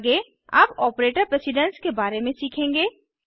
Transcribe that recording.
आगे अब operator precedence के बारे में सीखेंगे